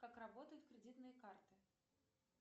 как работают кредитные карты